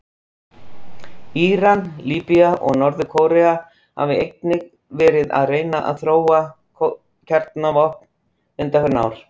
Íran, Líbía og Norður-Kórea hafa einnig verið að reyna að þróa kjarnavopn undanfarin ár.